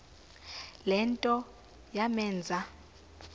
le nto yamenza